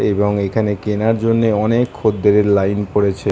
এবং এখানে কেনার জন্য অনেক খদ্দেরের লাইন পড়েছে ।